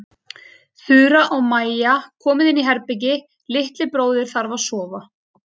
Þura og Maja, komiði inn í herbergi- litli bróðir þarf að sofa.